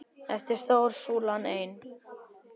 Eftir stóð súlan ein.